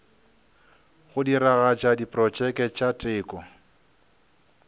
go diragatša diprotšeke tša teko